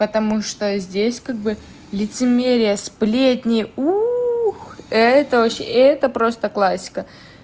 потому что здесь как бы лицемерие сплетни ух это очень и это просто классика